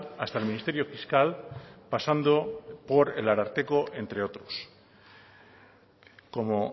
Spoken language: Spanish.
hasta el ministerio fiscal pasando por el ararteko entre otros como